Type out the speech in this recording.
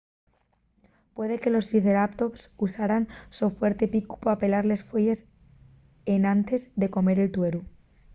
puede que los triceratops usaran el so fuerte picu pa pelar les fueyes enantes de comer el tueru